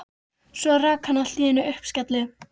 Svo rak hann allt í einu upp skelli